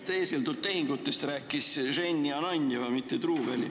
Teeseldud tehingutest rääkis Jenny Ananjeva, mitte Truuväli.